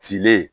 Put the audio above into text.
Cile